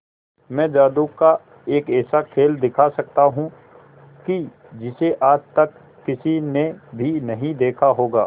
मैं जादू का एक ऐसा खेल दिखा सकता हूं कि जिसे आज तक किसी ने भी नहीं देखा होगा